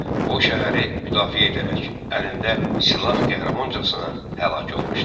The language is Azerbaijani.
O, şəhəri müdafiə edərək, əlində silah qəhrəmancasına həlak olmuşdur.